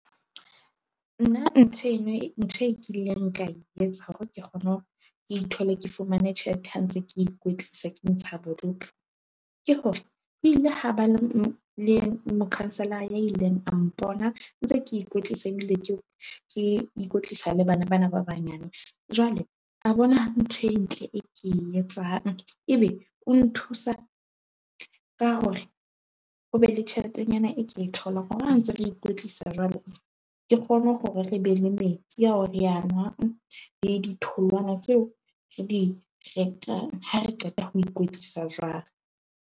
Nna ntho eno, ntho eo nkileng ka e etsa hore ke kgone ke ithole, ke fumane tjhelete ha ntse ke ikwetlisa ke ntsha bodutu. Ke hore ho ile ha ba na le mo-councilor-a a ileng a mpona ntse ke ikwetlisa ebile ke ikwetlisa le bana ba na ba banyane. Jwale a bona ntho e ntle e ke e etsang. Ebe o nthusa ka hore o be le tjheletenyana e ke e tholang hore ha ntse re ikwetlisa jwalo, ke kgone hore re be le metsi ao re a nwang le ditholwana tseo re di ratang. Ha re qeta ho ikwetlisa jwalo.